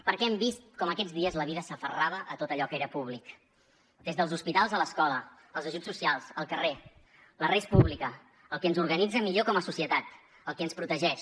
perquè hem vist com aquests dies la vida s’aferrava a tot allò que era públic des dels hospitals a l’escola els ajuts socials el carrer la res publica el que ens organitza millor com a societat el que ens protegeix